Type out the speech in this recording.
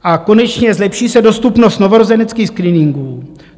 A konečně, zlepší se dostupnost novorozeneckých screeningů.